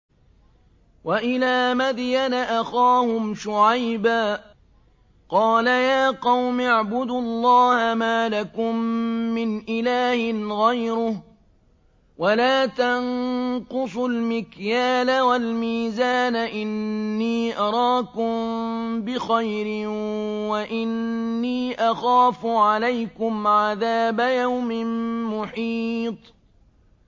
۞ وَإِلَىٰ مَدْيَنَ أَخَاهُمْ شُعَيْبًا ۚ قَالَ يَا قَوْمِ اعْبُدُوا اللَّهَ مَا لَكُم مِّنْ إِلَٰهٍ غَيْرُهُ ۖ وَلَا تَنقُصُوا الْمِكْيَالَ وَالْمِيزَانَ ۚ إِنِّي أَرَاكُم بِخَيْرٍ وَإِنِّي أَخَافُ عَلَيْكُمْ عَذَابَ يَوْمٍ مُّحِيطٍ